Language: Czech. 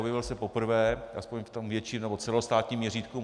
Objevil se poprvé, alespoň v tom větším nebo celostátním měřítku.